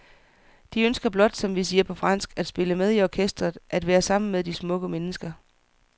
De ønsker blot, som vi siger på fransk, at spille med i orkestret, at være sammen med de smukke mennesker.